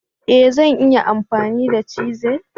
E! Zan iya amfani da chisel.